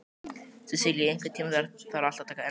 Sesilía, einhvern tímann þarf allt að taka enda.